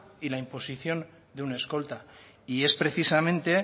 y la imposición de un escolta y es precisamente